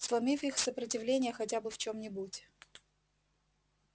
сломив их сопротивление хотя бы в чём-нибудь